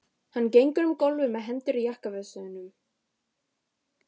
Hann gengur um gólf með hendur í jakkavösunum.